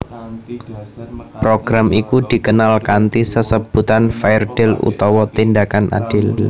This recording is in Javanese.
Program iku dikenal kanthi sesebutan Fair Deal utawa Tindakan Adil